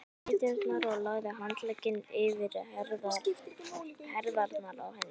ræturnar og lagði handlegginn yfir herðarnar á henni.